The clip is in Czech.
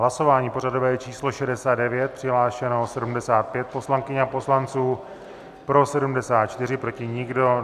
Hlasování pořadové číslo 69, přihlášeno 75 poslankyň a poslanců, pro 74, proti nikdo.